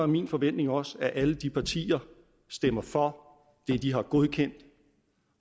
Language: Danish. min forventning også at alle de partier stemmer for det de har godkendt